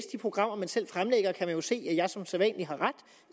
programmer man selv fremlægger kan man jo se at jeg som sædvanlig har ret